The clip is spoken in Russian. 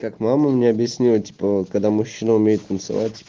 как мама мне объяснила типа вот когда мужчина умеет танцевать